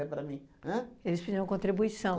É para mim. An? Eles pediam uma contribuição.